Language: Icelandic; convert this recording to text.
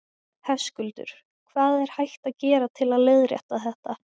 Höskuldur: Hvað er hægt að gera til að leiðrétta þetta?